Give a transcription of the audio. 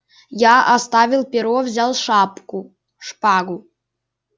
я оставил перо взял шапку шпагу